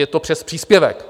Je to přes příspěvek.